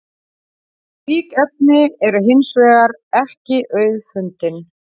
slík efni eru hins vegar ekki auðfundin